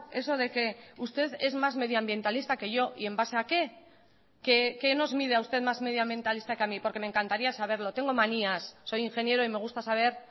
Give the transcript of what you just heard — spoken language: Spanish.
eso de que usted es más medioambientalista que yo y en base a que qué nos mide a usted más medioambientalista que a mí porque me encantaría saberlo tengo manías soy ingeniero y me gusta saber